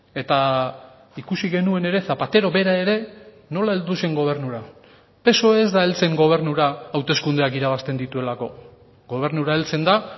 eta ikusi genuen ere zapatero bera ere nola heldu zen gobernura psoe ez da heltzen gobernura hauteskundeak irabazten dituelako gobernura heltzen da